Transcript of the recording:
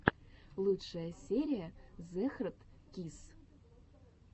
лучшая серия зэхардкисс